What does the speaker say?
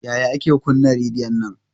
Yaya ake kuna rediyon nan?